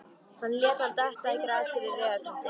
Hann lét hann detta í grasið við vegarkantinn.